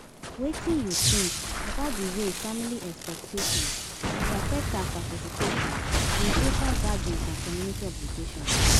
Wetin you think about di way family expectations dey affect our participation in social gatherings and coomunity obligations?